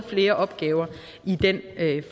flere opgaver i den